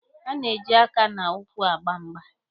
A na-eji aka na ụkwụ agba mgba.